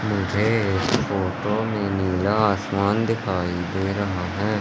मुझे इस फोटो में नीला आसमान दिखाई दे रहा है।